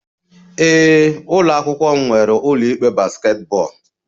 Ee, ụlọ akwụkwọ m nwere ụlọ ikpe basketball